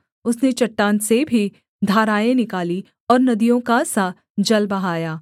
उसने चट्टान से भी धाराएँ निकालीं और नदियों का सा जल बहाया